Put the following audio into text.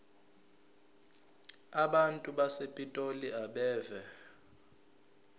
abantu basepitoli abeve